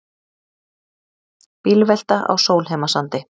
Bílvelta á Sólheimasandi